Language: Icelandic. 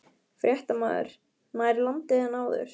Fréttamaður: Nær landi en áður?